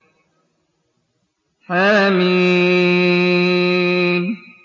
حم